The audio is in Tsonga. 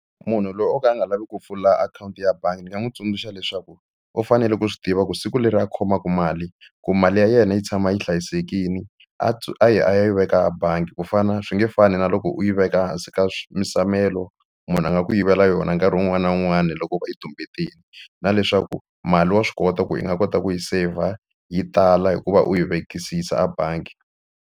Munhu loyi o ka a nga lavi ku pfula akhawunti ya bangi ni nga n'wi tsundzuxa leswaku u fanele ku swi tiva ku siku leri a khomaka mali ku mali ya yena yi tshama yi hlayisekile a yi a ya yi veka a bangi ku fana swi nge fani na loko u yi veka hansi ka musamelo munhu a nga ku yivela yona nkarhi wun'wani na wun'wani loko va yi tumbetini na leswaku mali wa swi kota ku yi nga kota ku yi saver yi tala hikuva u yi vekisisa ebangi.